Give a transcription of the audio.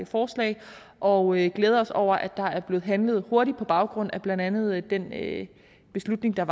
forslag og vi glæder os over at der er blevet handlet hurtigt på baggrund af blandt andet den beslutning der